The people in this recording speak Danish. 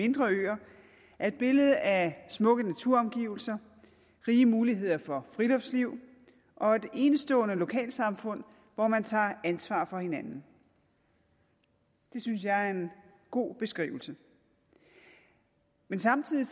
mindre øer er et billede af smukke naturomgivelser rige muligheder for friluftsliv og et enestående lokalsamfund hvor man tager ansvar for hinanden det synes jeg er en god beskrivelse men samtidig